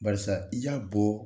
Barisa i y'a bɔ